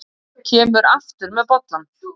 Kemur aftur með bollann.